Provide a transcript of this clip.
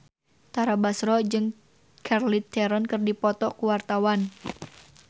Tara Basro jeung Charlize Theron keur dipoto ku wartawan